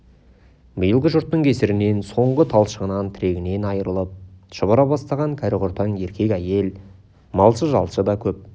биылғы жұттың кесірінен соңғы талшығынан тірегінен айрылып шұбыра бастаған кәрі-құртаң еркек-әйел малшы-жалшы да көп